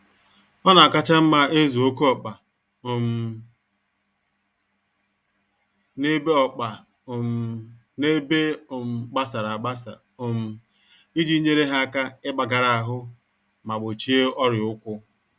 Ọnakacha mma ịzụ oké ọkpa um n'ebe ọkpa um n'ebe um gbasara agbasa um iji nyèrè ha áká igbagara-ahụ ma gbochie ọrịa ụkwụ